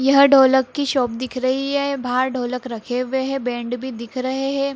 यह ढोलक की शॉप दिख रही है बाहर ढोलक रखे हुई है बैंड भी दिख रहे है।